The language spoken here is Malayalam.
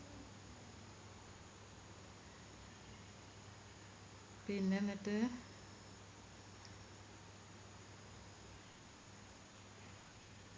പിന്നെന്നിട്ട്